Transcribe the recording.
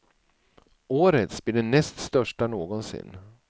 Årets blir den näst största någonsin.